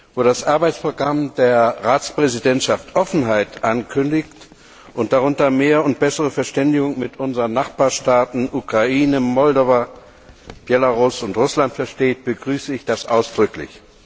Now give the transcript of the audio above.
Wo das Arbeitsprogramm der Ratspräsidentschaft Offenheit ankündigt und darunter mehr und bessere Verständigung mit unseren Nachbarstaaten Ukraine, Republik Moldau, Belarus und Russland versteht, begrüße ich das ausdrücklich.